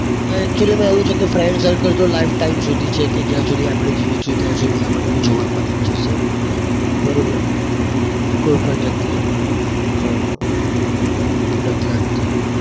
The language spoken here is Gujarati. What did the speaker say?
actually માં એવું છે કે friend circle તો lifetime સુધી છે કે જ્યાં સુધી આપણે જીવીશું ત્યાં સુધી આપણને જોવા મળી જ જશે બરોબર? કોઈ પણ જગ્યા એ પણ નથી લગતી.